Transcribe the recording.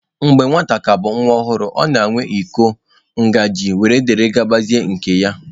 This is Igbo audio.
Mgbe nwata ka bụ nwa ọhụrụ, ọ na-enwe iko, ngazị wdg nke ya.